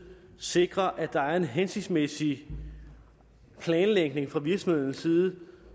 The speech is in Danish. sikre at der er en hensigtsmæssig planlægning fra virksomhedens side